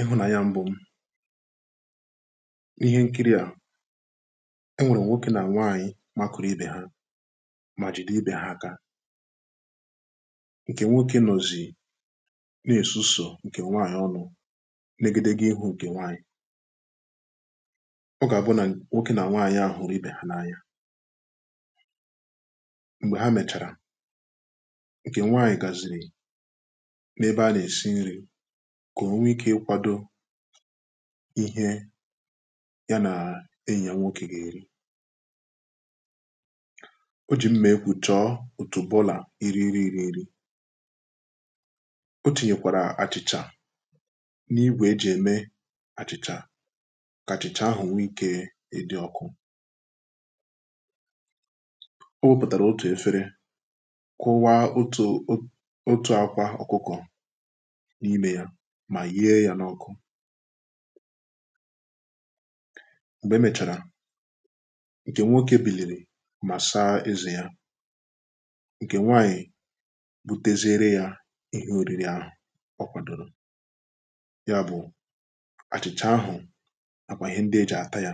ịhụ̀nanya m̄bụ̄ n’ihe nkiri à enwèrè nwokē nà nwaànyị̀ makụ̄rụ̄ ibè ha mà jìde ibè ha akā ǹkè nwokē nọ̀zị̀ na-èsusù ǹkè nwaànyị̀ ọnụ̄ n’egedege ihū ǹkè nwaànyị̀ ọ gà-àbụ nà nwokē nà nwaànyị à hụ̀rụ̀ ibè ha n’anya m̀gbè ha mèchàrà, ǹkè nwaànyị̀ gàsìrì n’ebe ha nà-èsi nrī kà o nwe ikē ịkwādō ihe ya nà enyì ya nwokē gà-èri o jì mmà egwù chọ̀ọ òtùbọlà iri nri irī n̄rī o tìnyèkwàrà àchị̀chà n’igwè ejì ème àchị̀chà kà àchị̀chà ahụ̀ nwe ikē ị̄dị̀ ọ̀kụ̀ o wōpùtàrà otù efere kụwa otù otù àkwa ọ̀kụkọ̀ n’imē yā mà yee yā n’ọ̄kụ̄ m̀gbè emèchàrà, ǹkè nwokē bìlìrì mà saa ezē yā ǹkè nwaànyị̀ buteziere yā ihe ōrīrī āhụ̀ ọ kwàdòrò ya bụ̀ àchị̀chà ahụ̀ nàkwà ihe ndị ejì àta yā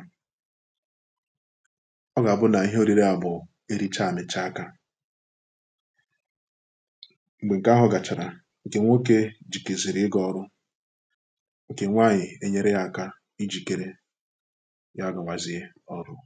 ọ gà-àbụ nà ihe ōrīrī à bụ̀ ericha, àmị̀cha akā m̀gbè ǹkè ahụ̄ gàchàrà, ǹkè nwokē jìkèzìrì ịgā ọ̄rụ̄ ǹkè nwaànyị̀ ènyere yā ākā ijìkere ya gāwāziē ọ̀rụ̀